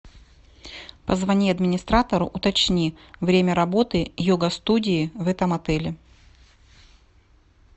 позвони администратору уточни время работы йога студии в этом отеле